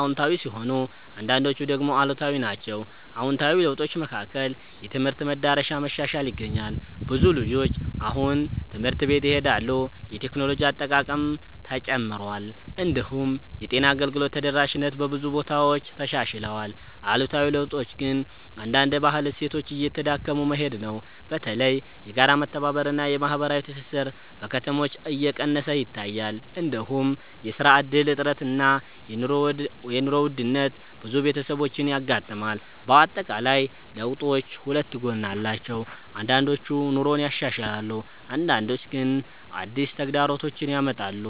አዎንታዊ ሲሆኑ አንዳንዶቹ ደግሞ አሉታዊ ናቸው። አዎንታዊ ለውጦች መካከል የትምህርት መዳረሻ መሻሻል ይገኛል። ብዙ ልጆች አሁን ትምህርት ቤት ይሄዳሉ፣ የቴክኖሎጂ አጠቃቀምም ተጨምሯል። እንዲሁም የጤና አገልግሎት ተደራሽነት በብዙ ቦታዎች ተሻሽሏል። አሉታዊ ለውጦች ግን አንዳንድ የባህል እሴቶች እየተዳከሙ መሄድ ነው። በተለይ የጋራ መተባበር እና የማህበራዊ ትስስር በከተሞች እየቀነሰ ይታያል። እንዲሁም የስራ እድል እጥረት እና የኑሮ ውድነት ብዙ ቤተሰቦችን ያጋጥማል። በአጠቃላይ ለውጦቹ ሁለት ጎን አላቸው፤ አንዳንዶቹ ኑሮን ያሻሽላሉ አንዳንዶቹ ግን አዲስ ተግዳሮቶች ያመጣሉ።